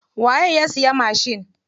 Waye ya siya mashin?